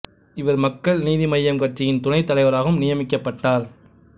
இவர் மக்கள் நீதி மய்யம் கட்சியின் துணைத் தலைவராகவும் நியமிக்கப்பட்டார்